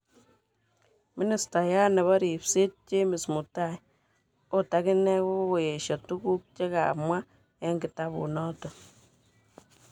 Ministayat nebo ripset James Mutai otakine kokoyesho tuguk chekamwa eng kitabut noton.